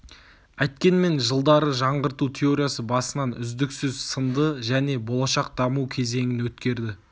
әйткенмен жылдары жаңғырту теориясы басынан үздіксіз сынды және болашақ даму кезеңін өткерді